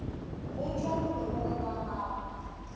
go tšwa molomong wa gago